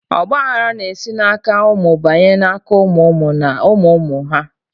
Ọgba aghara na esi na aka ụmụ banye na aka ụmụ ụmụ na ụmụ ụmụ ụmụ ha